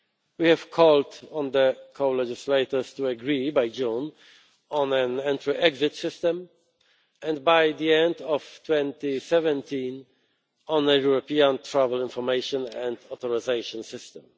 We have called on the co legislators to agree by June on an Entry Exit System, and by the end of 2017, on a European Travel Information and Authorisation System.